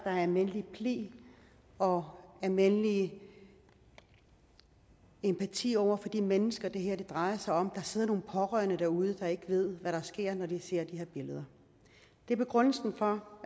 er almindelig pli og almindelig empati over for de mennesker det her drejer sig om der sidder nogle pårørende derude der ikke ved hvad der er sket når de ser de billeder det er begrundelsen for